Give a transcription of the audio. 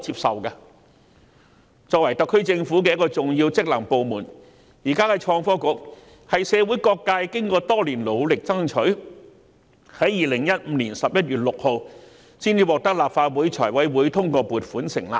創新及科技局作為特區政府的重要職能部門，是經過社會各界多年努力爭取，才於2015年11月6日獲立法會財務委員會通過撥款成立。